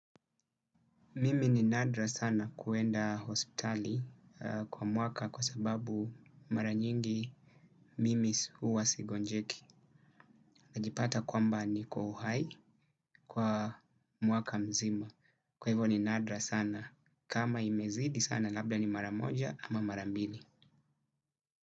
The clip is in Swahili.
Mimi ni nadra sana kuenda hospitali kwa mwaka kwa sababu mara nyingi mimi huwa sigonjeki. Najipata kwamba niko uhai kwa mwaka mzima. Kwa hivyo ni nadra sana kama imezidi sana labla ni mara moja ama mara mbili.